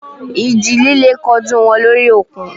Ìjì líle kojú wọn lórí òkun.